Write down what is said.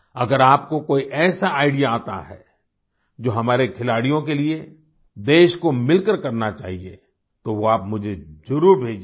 अगर आपको कोई ऐसा आईडीईए आता है जो हमारे खिलाड़ियों के लिए देश को मिलकर करना चाहिए तो वो आप मुझे ज़रुर भेजिएगा